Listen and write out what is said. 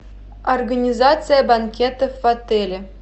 организация банкетов в отеле